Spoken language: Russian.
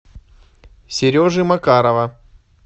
сережи макарова